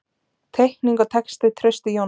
Teikning og texti: Trausti Jónsson.